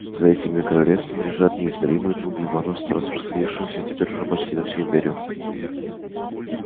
за этими королевствами лежат неизмеримые джунгли варварства распространившегося теперь уже почти на всю империю